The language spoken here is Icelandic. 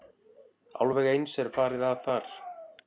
Alveg eins er farið að þar.